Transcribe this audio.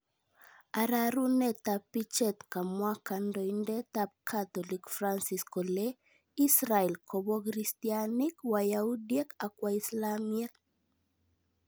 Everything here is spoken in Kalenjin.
Aroruneetab Picheet, kamwaa kandoindet ab catholic Francis kole, Israel koboo kristyaniik , wayaudiek ak waislamyek